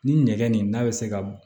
Ni nɛgɛ nin n'a bɛ se ka